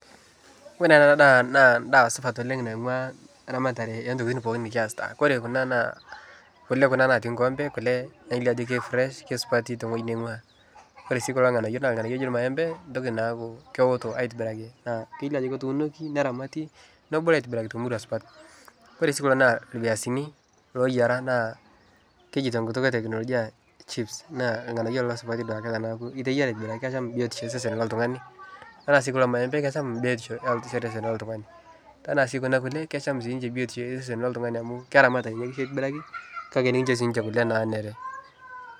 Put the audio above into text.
Ore ena daa naa endaa supat oleng' naing'uaa eramatare oontokiting pooki nikaisita kore kuna naa kule kuna naatii enkikompe kule nelio ajo kefresh kesupati tewoining'uaa ore sii kulo ng'anayio naa ilng'anayio ooji irmaembe neeku keoto aitobiraki naa kelio ajo ketuunoki neramati nebulu aitobiraki temurua supat ore sii kulo naa irpiasini looyiara naa keji tenkutu eteknolojia chips naa irng'anayio supati lelo duake teneeku iteyiara aitobiraki asham biotishoyo oltung'ani ore sii kulo maembe enaa sii kuna kulie kisham siinche biotisho osesen loltung'ani amu keramat kitobiraki kake enetum siinche kule naanare.